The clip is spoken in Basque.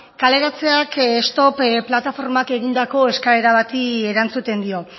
kaleratzeak stop plataformak egindako eskaera bati erantzuten dio